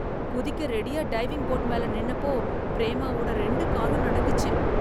குதிக்க ரெடியா diving board மேல நின்னப்போ பிரேமாவோட ரெண்டு காலும் நடுங்கிச்சு.